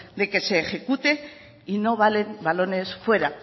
de que se ejecute y no valen balones fuera